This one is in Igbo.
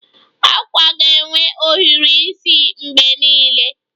Akwa ga-enwe ohiri isi mgbe niile